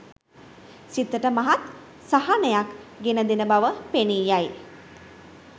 සිතට මහත් සහනයක් ගෙනදෙන බව පෙනී යයි.